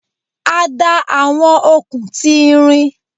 A da awọn okun ti irin